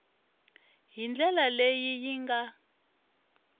hi ndlela leyi yi nga